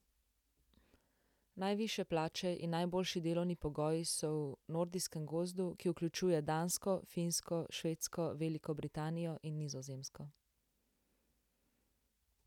Najvišje plače in najboljši delovni pogoji so v nordijskem grozdu, ki vključuje Dansko, Finsko, Švedsko, Veliko Britanijo in Nizozemsko.